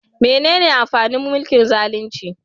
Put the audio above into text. Menene amfanin mulkin zalunci?